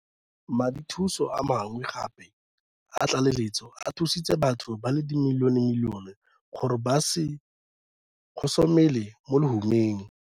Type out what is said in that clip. Madithuso a mangwe gape a tlaleletso a thusitse batho ba le dimilionemilione gore ba se gosomele mo lehumeng.